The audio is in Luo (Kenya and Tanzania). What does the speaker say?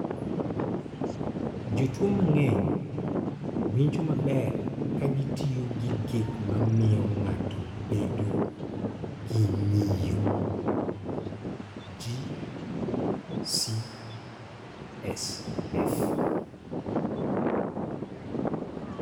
Jotuo mang�eny winjo maber ka gitiyo gi gik ma miyo ng�ato bedo gi ng�iyo (G CSF).